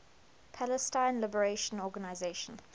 palestine liberation organization